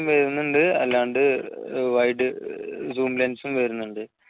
വരുന്നുണ്ട് അല്ലാണ്ട് wide zoom lense ഉം വരുന്നുണ്ട്